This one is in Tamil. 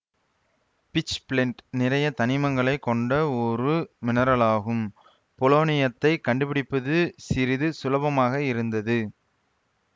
பிட்ச்பிளென்ட் நிறைய தனிமங்களை கொண்ட ஒரு மினெரலாகும் போலோனியத்தை கண்டுபிடிப்பது சிறிது சுலபமாக இருந்தது